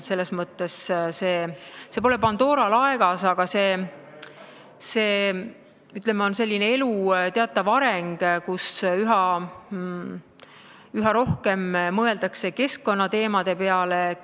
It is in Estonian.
Selles mõttes pole see Pandora laegas, see on selline elu teatav areng, üha rohkem mõeldakse keskkonnateemade peale.